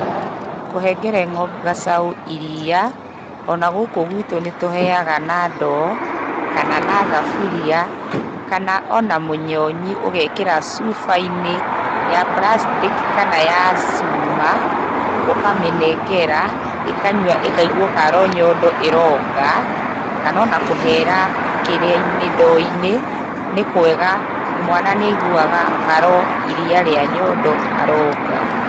Kũhengere gacaũ ĩrĩa, ona gũkũ gwĩtũ nĩtũheaga na ndoo kana na thuburĩa kana ona mũnyonyĩ ũgekĩra cuba-ĩnĩ ya plastic ĩ kana ya cuma ũkamĩnengera ĩkanyua ĩkaĩgua karĩ o nyondo ĩronga kana ona kũhera kĩrĩa-ĩnĩ, ndoo-ĩnĩ nĩ kwega mwana nĩaĩguaga karĩ o nyondo aronga.